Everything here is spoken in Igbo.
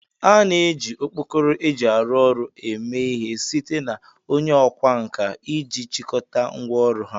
A na-eji okpkoro eji aru ọrụ eme ihe site na onye okwa nka iji chịkọta ngwá ọrụ ha